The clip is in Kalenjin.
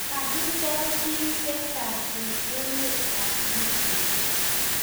Kakisoor [piik che chang eng emet ab libya